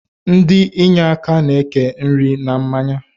Ndi inyeaka na-eke nri na mmanya